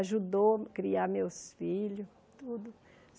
Ajudou a criar meus filhos, tudo.